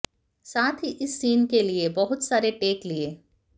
साथ ही इस सीन के लिए बहुत सारे टेक लिए